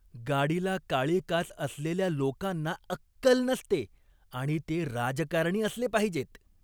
गाडीला काळी काच असलेल्या लोकांना अक्कल नसते आणि ते राजकारणी असले पाहिजेत.